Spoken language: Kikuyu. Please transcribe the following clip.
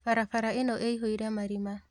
Barabara ĩno ĩiyũire marima